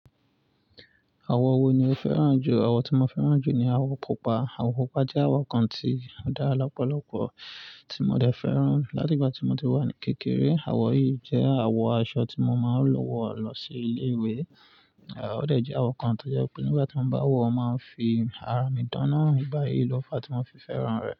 Àwọ̀ wo ni o fẹ́ràn jù? Àwọ̀ tí mo fẹ́ràn jù ni àwọ̀ pupa. Àwọ̀ pupa jẹ́ àwọ̀ kan tí ó dára lọ́pọ̀lọ̀pọ̀ tí mo dẹ fẹ́ràn láti ìgbà tí mo ti wà ní kékeré. Àwọ̀ yìí jẹ́ àwọ̀ aṣọ tí mo máa ń lọ wọ̀ lọ sí ilé ìwé. À dẹ̀ jẹ́ àwọ̀ kan tó jẹ́ pé nígbà tí mo bá wọ̀, o máa ń fi ara mi dán náa nígbà yìí ló fa tí mo fi fẹ́ràn rẹ̀.